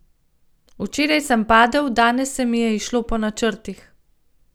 Včeraj sem padel, danes se mi je izšlo po načrtih.